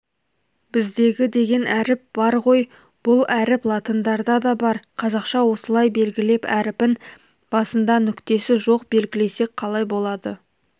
біздегі деген әріп бар ғой бұл әріп латындарда да бар қазақша осылай белгілеп әріпін басында нүктесі жоқ белгілесек қалай болады